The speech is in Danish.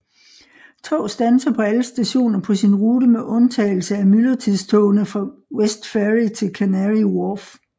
Tog standser på alle stationer på sin rute med udtagelse af myldretidstogene fra Westferry til Canary Wharf